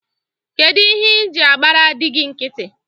Kedu ihe ị ji agbara dị gị nkiti?